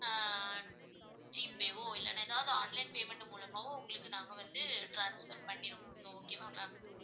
ஆஹ் ஜீபேயோ, இல்லைன்னா ஏதாவது online payment மூலமாவோ உங்களுக்கு நாங்க வந்து transfer பண்ணிடுவோம். so okay வா ma'am